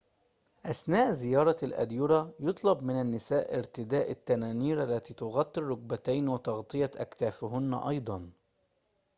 أثناء زيارة الأديرة يُطلب من النساء ارتداء التنانير التي تغطي الركبتين وتغطية أكتافهن أيضاً